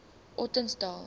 ottosdal